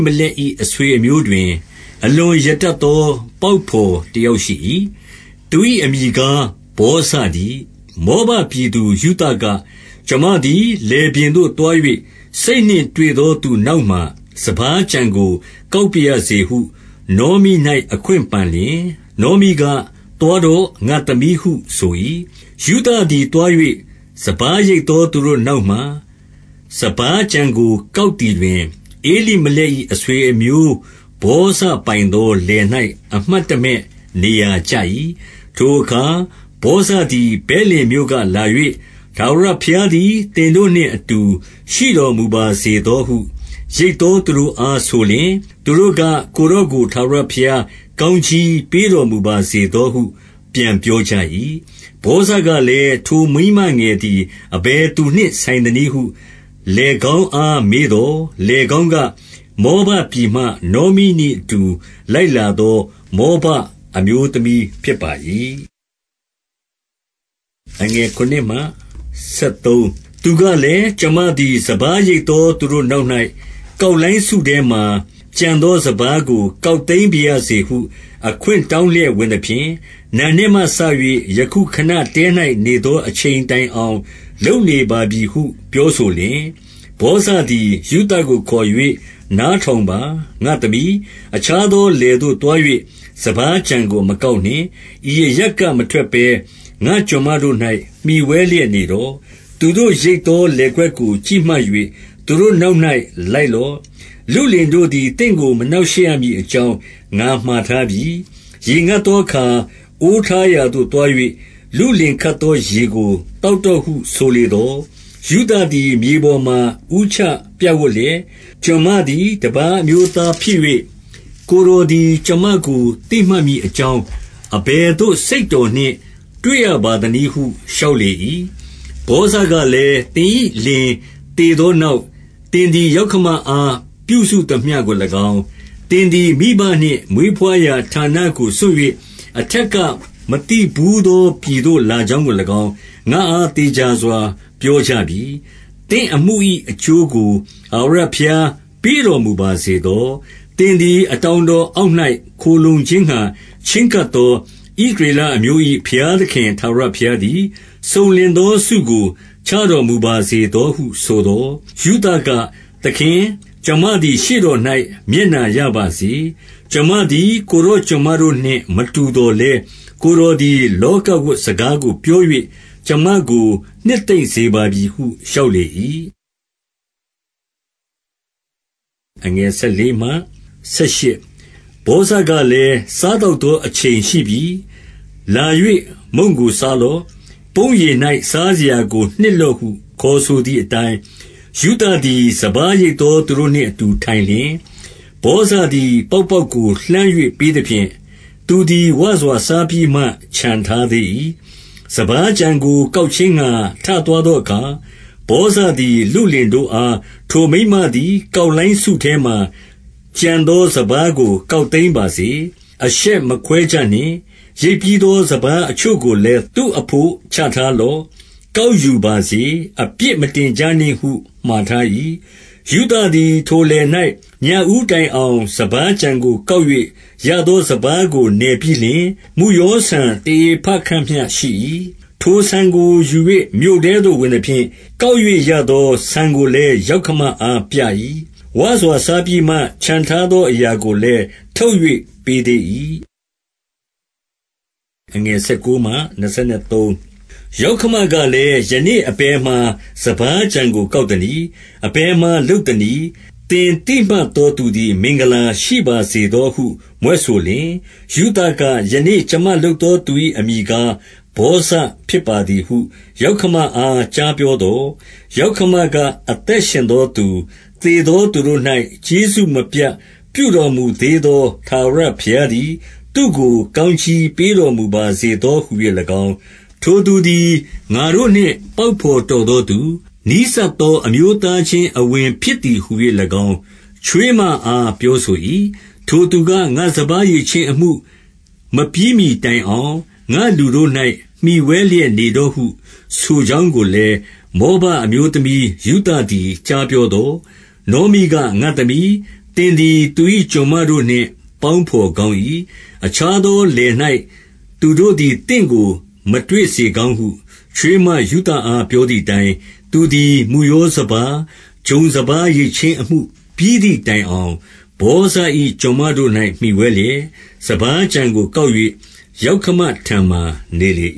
မလက်၏ အဆွေအမျိုးတွင်အလွန်ရတတ်သောပေါက်ဘော်တယောက်ရှိ၏။ သူ၏အမည်ကား ဗောဇတည်း။ 2 မောဘပြည်သူရုသက၊ ကျွန်မသည် လယ်ပြင်သို့သွား၍ စိတ်နှင့်တွေ့သောသူနောက်မှာစပါးကျန်ကို ကောက်ပါရစေဟု နောမိ၌အခွင့်ပန်လျှင်၊ နောမိက၊ သွားတော့ငါ့သမီးဟုဆို၏။ 3 ရုသသည်သွား၍စပါးရိတ်သောသူတို့နောက်မှာ၊ စပါးကျန်ကို ကောက်သည်တွင်၊ ဧလိမလက်၏ အဆွေအမျိုး ဗောဇပိုင်သောလယ်၌ အမှတ်တမဲ့ နေရာကျ၏။ 4 ထိုအခါဗောဇသည် ဗက်လင်မြို့က လာ၍၊ ထာဝရဘုရားသည်သင်တို့နှင့်အတူရှိတော်မူပါစေသောဟု ရိတ်သောသူတို့အားဆိုလျှင်၊ သူတို့က၊ ကိုယ်တော်ကိုထာဝရဘုရားကောင်းကြီးပေးတော်မူပါစေသောဟု ပြန်ပြောကြ၏။ 5 ဗောဇကလည်း၊ ထိုမိန်းမငယ်သည် အဘယ်သူနှင့်ဆိုင်သနည်းဟု လယ်ခေါင်းအားမေးသော်၊ 6 လယ်ခေါင်းက၊ မောဘပြည်မှနောမိနှင့်အတူလိုက်လာသော မောဘအမျိုးသမီးဖြစ်ပါ၏။ 7 သူကလည်း၊ ကျွန်မသည် စပါးရိတ်သောသူတို့နောက်၌ ကောက်လှိုင်းစုထဲမှာ ကျန်သော စပါးကို ကောက်သိမ်းပါရစေဟု အခွင့်တောင်းလျက်ဝင်သဖြင့်၊ နံနက်မှစ၍ ယခုခဏတဲ၌နေသောအချိန် တိုင်အောင် လုပ်နေပါပြီဟုပြောဆိုလျှင်၊ 8 ဗောဇသည် ရုသကိုခေါ်၍၊ နားထောင်ပါ၊ ငါ့သမီး။ အခြားသောလယ်သို့သွား၍စပါးကျန်ကို မကောက်နှင့်။ ဤအရပ်ကမထွက်ဘဲ၊ ငါ့ကျွန်မတို့၌ မှီဝဲလျက်နေတော့။ 9 သူတို့ရိတ်သောလယ်ကွက်ကိုကြည့်မှတ်၍ သူတို့နောက်၌ လိုက်လော့။ လုလင်တို့သည်သင့်ကို မနှောင့်ရှက်ရမည်အကြောင်း ငါမှာထားပြီ။ ရေငတ်သောအခါ၊ အိုးထားရာသို့သွား၍လုလင်ခပ်သောရေကို သောက်တော့ဟုဆိုလေသော်၊ 10 ရုသသည်မြေပေါ်မှာဦးချပြပ်ဝပ်လျက်၊ ကျွန်မသည်တပါးအမျိုးသားဖြစ်၍ ကိုယ်တော်သည် ကျွန်မကို သိမှတ်မည်အကြောင်း၊ အဘယ်သို့စိတ်တော်နှင့်တွေ့ရပါသနည်းဟုလျှောက်လေ၏။ 11 ဗောဇကလည်း၊ သင်၏လင်သေသွားနောက်၊ သင်သည်ယောက္ခမအားပြုစုသမျှကို၎င်း၊ သင်သည်မိဘနှင့်မွေးဘွားရာဌာနပြည်ကိုစွန့်၍အထက်က မသိဘူးသောပြည်သို့လာကြောင်းကို၎င်း၊ ငါ့အားသေချာစွာပြောကြပြီ။ 12 သင့်အမှု၏အကျိုးကိုထာဝရဘုရားပေးတော်မူပါစေသော။ သင်သည်အတောင်တော်အောက်၌ ခိုလှုံ ခြင်းငှါ ချဉ်းကပ်သော ဣသရေလအမျိုး၏ ဘုရားသခင်ထာဝရဘုရားသည် စုံလင်သောဆုကို ချတော်မူပါစေသောဟု ဆိုသော်၊ 13 ရုသကလည်း သခင်ကျွန်မသည် ရှေ့တော်၌မျက်နှာရပါစေ။ ကျွန်မသည်ကိုယ်တော်ကျွန်မတို့နှင့် မတူသော်လည်း၊ ကိုယ်တော်သည် လောကဝတ် စကားကို ပြော၍ကျွန်မကို နှစ်သိမ့်စေပါပြီဟု လျှောက်လေ၏။ 14 ဗောဇကလည်း၊ စားသောက်သောအချိန်ရှိပြီ။ လာ၍မုန့်ကို စားလော့။ ပုံးရည်၌ စားစရာကို နျစ်လော့ ဟု ခေါ်ဆိုသည်အတိုင်း၊ ရုသသည် စပါးရိတ်သော သူတို့နှင့်အတူ ထိုင်လျှင်၊ ဗောဇသည် ပေါက်ပေါက်ကိုလှမ်း၍ ပေးသဖြင့်၊ သူသည် ဝစွာစားပြီးမှချန်ထားသေး၏။ 15 စပါးကျန်ကို ကောက်ခြင်းငှါထသွားသောအခါ၊ ဗောဇသည်လုလင်တို့အား၊ ထိုမိန်းမသည် ကောက်လှိုင်း စုထဲမှာကျန်သောစပါးကိုကောက်သိမ်း ပါစေ၊ အရှက်မခွဲကြနှင့်။ 16 ရိတ်ပြီးသောစပါးအချို့ကိုလည်း သူအဘို့ချထားလော့။ ကောက်ယူပါစေ။ အပြစ်မတင်ကြနှင့်ဟု မှာထား၏။ 17 ရုသသည်ထိုလယ်၌ ညဦးတိုင်အောင် စပါးကျန်ကိုကောက်၍ ရသောစပါးကိုနယ်ပြီးလျှင် မုယောဆန်တဧဖာခန့်မျှရှိ၏။ 18 ထိုဆန်ကိုယူ၍မြို့ထဲသို့ ဝင်သဖြင့်၊ ကောက်၍ရသောဆန်ကိုလည်း ယောက္ခမအားပြ၏။ ဝစွာစားပြီးမှ ချန်ထားသော အရာကိုလည်း ထုတ်၍ ပေးသေး၏။ 19 ယောက္ခမကလည်း၊ ယနေ့အဘယ်မှာလုပ်သနည်း။ သင်သိမှတ် သောသူသည်မင်္ဂလာရှိပါစေသော ဟုမြွက်ဆိုလျှင်၊ ရုသက ယနေ့ကျွန်မလုပ်သောသူ၏အမည်ကား၊ ဗောဇဖြစ်ပါသည်ဟုယောက္ခမအား ကြားပြောသော်။ 20 ယောက္ခမက၊ အသက်ရှင်သောသူ၊ သေသော သူတို့၌ ကျေးဇူးမပြတ် ပြုတော်မူသေးသောထာဝရဘုရား သည်သူ့ကိုကောင်းကြီးပေးတော်မူပါစေသောဟူ၍၎င်း၊ ထိုသူသည်ငါတို့နှင့်ပေါက်ဘော်တော်သောသူ၊ နီးစပ်သော အမျိုးသားချင်း အဝင် ဖြစ်သည်ဟူ၍၎င်း၊ ချွေးမအားပြောဆို၏။ 21 ထိုသူက၊ ငါ့စပါးရိတ်ခြင်းအမှု မပြီးမှီတိုင်အောင်၊ ငါ့လူတို့၌မှီဝဲလျက်နေတော့ဟု ဆိုကြောင်းကိုလည်း မောဘအမျိုးသမီး ရုသသည် ကြားပြောသော်၊ 22 နောမိက၊ ငါ့သမီး၊ သင်သည် သူ၏ကျွန်မတို့နှင့်ပေါင်းဘော်ကောင်း၏။ အခြားသောလယ်၌သူတို့သည် သင့်ကိုမတွေ့စေကောင်းဟု၊ ချွေးမရုသအားပြောသည်အတိုင်း၊ 23 သူသည် မုယောစပါး၊ ဂျုံစပါးရိတ်ခြင်းအမှု ပြီးသည်တိုင်အောင်ဗောဇ၏ ကျွန်မတို၌ မှီဝဲလျက်၊ စပါးကျင်ကိုကောက်၍ ယောက္ခမထံမှာနေလေ